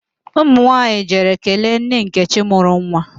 Ụmụ nwaanyị jere kelee nne nkechi mụrụ nwa